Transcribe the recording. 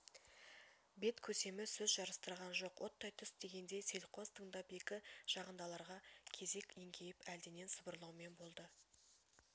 бет көсемі сөз жарыстырған жоқ оттай түс дегендей селқос тыңдап екі жағындағыларға кезек еңкейіп әлденен сыбырлаумен болды